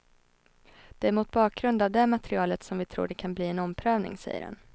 Det är mot bakgrund av det materialet som vi tror det kan bli en omprövning, säger han.